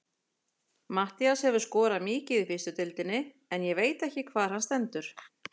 Matthías hefur skorað mikið í fyrstu deildinni en ég veit ekki hvar hann stendur.